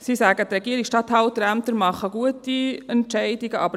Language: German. Sie sagen, die Regierungsstatthalterämter würden gute Entscheide fällen.